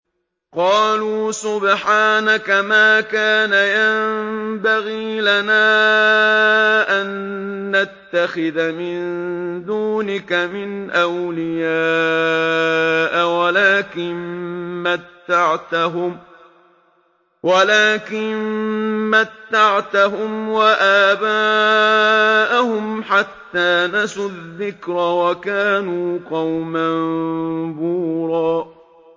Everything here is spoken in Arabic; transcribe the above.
قَالُوا سُبْحَانَكَ مَا كَانَ يَنبَغِي لَنَا أَن نَّتَّخِذَ مِن دُونِكَ مِنْ أَوْلِيَاءَ وَلَٰكِن مَّتَّعْتَهُمْ وَآبَاءَهُمْ حَتَّىٰ نَسُوا الذِّكْرَ وَكَانُوا قَوْمًا بُورًا